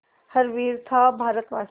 हर वीर था भारतवासी